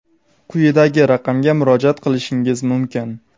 quyidagi raqamga murojaat qilishingiz mumkin:.